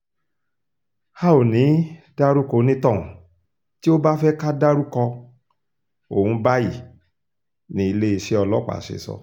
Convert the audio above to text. a ò ní í dárúkọ onítọ̀hún tí ó bá fẹ́ ká dárúkọ òun báyìí ní iléeṣẹ́ ọlọ́pàá ṣe sọ